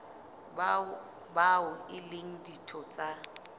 bao e leng ditho tsa